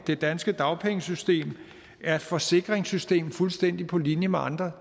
det danske dagpengesystem er et forsikringssystem fuldstændig på linje med andre